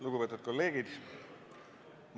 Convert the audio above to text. Lugupeetud kolleegid!